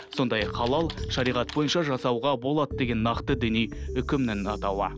сондай ақ халал шариғат бойынша жасауға болады деген нақты діни үкімнің атауы